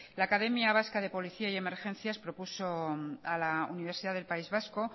la academia vasca de policía y emergencias propuso a la universidad del país vasco